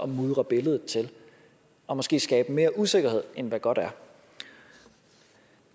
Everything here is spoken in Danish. mudre billedet til og måske skabe mere usikkerhed end hvad godt er